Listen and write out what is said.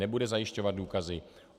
Nebude zajišťovat důkazy.